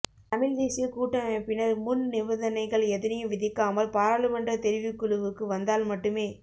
தமிழ் தேசிய கூட்டமைப்பினர் முன் நிபந்தனைகள் எதனையும் விதிக்காமல் பாராளுமன்றத் தெரிவுக் குழுவுக்கு வந்தால் மட்டுமே